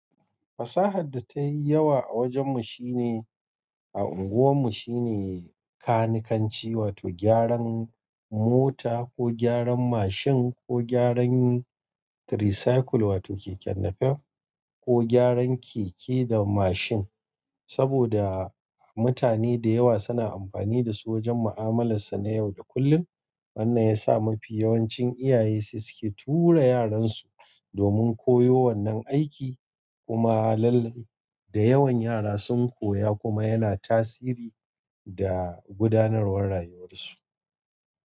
Fasahar da tayi yawa a wajen mu shine a unguwan mu shine kanikanci, wato gyaran mota ko gyaran mashin ko gyaran tricycle wato keken nafef ko gyaran keke da mashin. Saboda mutane da yawa suna amfani da su wajen ma'amalarsu na yau da kullum. Wannan ya sa mafi yawancin iyaye su suke tura yaran su domin koyo wannan aiki. Kuma lallai da yawan yara sun koya kuma yana tasiri da gudanarwar rayuwar su.